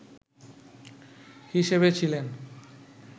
হিসেবে ছিলেন